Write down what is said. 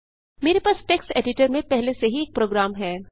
मेरे पास text editor में पहले से ही एक प्रोग्राम है